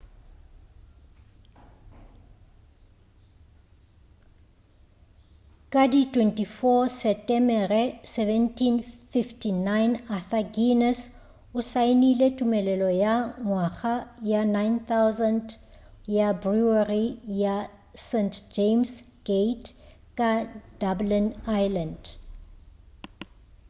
ka di 24 setemere 1759 arthur guinness o saenile tumelelo ya ngwaga wa 9,000 ya brewery ya st james gate ka dublin ireland